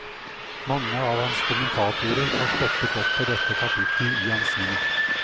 Mange av hans kommentatorer har stoppet opp ved dette kapittel i hans liv.